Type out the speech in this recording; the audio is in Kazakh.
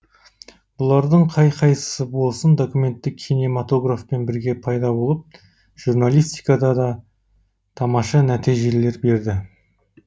бұлардың қай қайсысы болсын документті кинематографпен бірге пайда болып журналистикада да тамаша нәтижелер берді